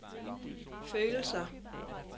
følelser